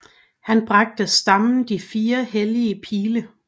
Han bragte stammen de fire hellige pile